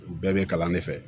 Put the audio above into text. U bɛɛ bɛ kalan de fɛ